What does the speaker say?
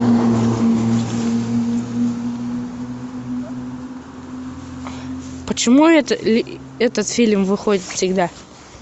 почему этот фильм выходит всегда